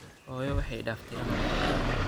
Xoyo waxay iidaftey ano yar.